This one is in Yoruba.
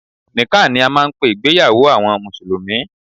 Nikkah ni a máà ń pé ìgbéyàwó àwọn mùsùlùmí.